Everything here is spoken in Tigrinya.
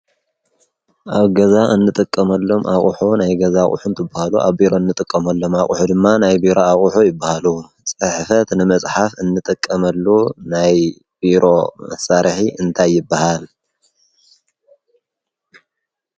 ?ኣብ ገዛ እንጠቀመሎም ኣቝሖ ናይ ገዛ ቝሑምት እብሃሉ ኣብ ቢሮ እንጠቀምሎም ኣቝሑ ድማ ናይ ቢሮ ኣቝኁ ይብሃሉ ጽሕፈት ንመጽሓፍ እንጠቀመሉ ናይ ብሮ ሣርሒ እንታይበሃል፡